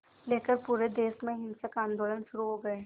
लेकर पूरे देश में हिंसक आंदोलन शुरू हो गए